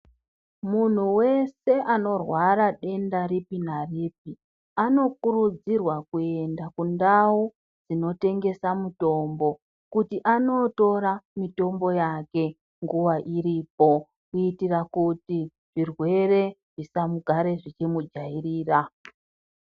Munhu wese anorwara denda ripi naripi anokurudzirwa kuenda kundau inotengesa mitombo kuti anotora mitombo yake nguva iripo kuitira kuti zvirwere zvisamugare zvichimujairira.